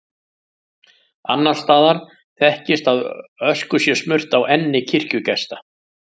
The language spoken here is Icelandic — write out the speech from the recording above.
Annars staðar þekkist að ösku sé smurt á enni kirkjugesta.